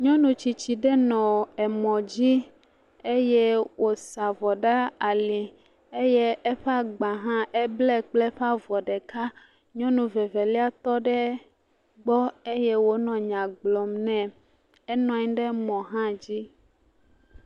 Nyɔnu tsitsi ɖe nɔ emɔ dzi eye wòsa avɔ ɖe ali eye eƒe agba hã eble kple eƒe avɔ ɖeka, nyɔnu ve velia tɔ ɖe gbɔ eye wònɔ nya gblɔm nɛ, enɔ anyi ɖe mɔ hã dzi.